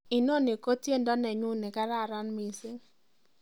inoni ko tiendo nenyun negararan missing